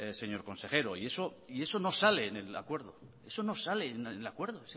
señor consejero y eso no sale en el acuerdo ese acuerdo